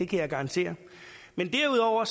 jeg garantere derudover